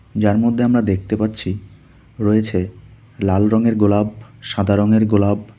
যার মধ্যে আমরা দেখতে পাচ্ছি রয়েছে লাল রঙের গোলাপ সাদা রঙের গোলাপ।